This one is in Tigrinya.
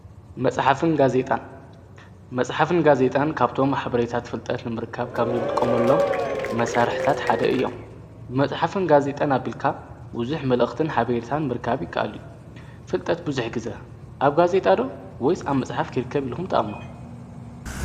መጽሓፍን ጋዜይጣን ካብቶም ኅብሬይታት ፍልጠት ንምርካብ ካብዘልቆምሎም መሣርሕታት ሓደ እዮም ብመጽሕፍን ጋዜጣን ኣቢልካ ውዙኅ መልእኽትን ሓበርታን ምርካብ ይከኣሉ እዩ። ፍልጠት ብዙኅ ጊዘ ኣብ ጋ ዜይጣዶ ወይስ ኣብ መጽሓፍ ኪርከብ ኢልኹም ተኣ።